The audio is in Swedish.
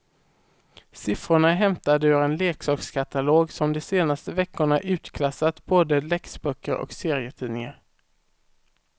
Siffrorna är hämtade ur en leksakskatalog som de senaste veckorna utklassat både läxböcker och serietidningar.